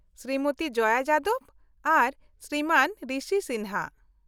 -ᱥᱨᱤᱢᱚᱛᱤ ᱡᱚᱭᱟ ᱡᱟᱫᱚᱵ ᱟᱨ ᱥᱨᱤᱢᱟᱱ ᱨᱤᱥᱤ ᱥᱤᱱᱦᱟ ᱾